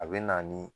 A bɛ na ni